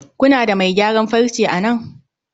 kuna da mai gyaran farce a nan?